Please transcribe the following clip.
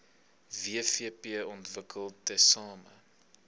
wvp ontwikkel tesame